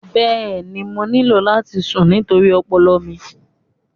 Bẹẹni, mo nílò láti sùn nítorí ọpọlọ mi.